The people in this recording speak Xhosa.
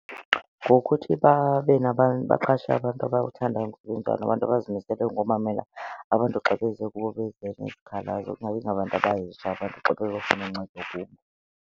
Ngokuthi babe nabantu, baqashe abantu abathanda ukusebenza nabantu abazimiseleyo ngomamela abantu xa beze kubo beze nezikhalazo, kungabi ngabantu abahetsha abantu xa beyokufuna uncedo kubo.